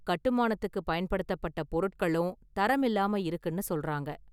கட்டுமானத்துக்கு பயன்படுத்தப்பட்ட பொருட்களும் தரம் இல்லாம இருக்குனு சொல்றாங்க.